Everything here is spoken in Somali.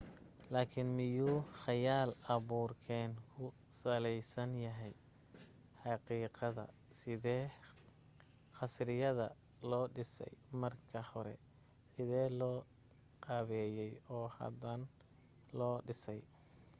laakin miyuu khayaal abuurkeen ku salaysan yahay xaqiiqadda sidee khasriyadda loo dhisay marka hore sidee loo qaabeeyey oo hadan loo dhisay